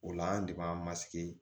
O la an de b'an